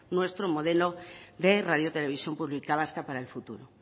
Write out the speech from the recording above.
nuestro modelo de radio televisión pública vasca para el futuro